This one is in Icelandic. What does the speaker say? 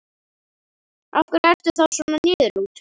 Af hverju ertu þá svona niðurlútur?